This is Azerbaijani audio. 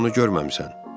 Sənsə onu görməmisən.